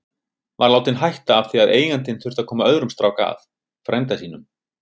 Var látinn hætta af því að eigandinn þurfti að koma öðrum strák að, frænda sínum.